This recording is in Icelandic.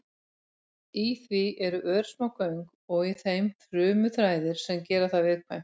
Í því eru örsmá göng og í þeim frumuþræðir sem gera það viðkvæmt.